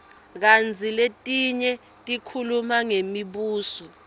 kantsi letinye tikhuluma ngemibuso